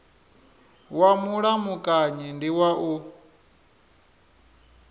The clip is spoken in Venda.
wa mulamukanyi ndi wa u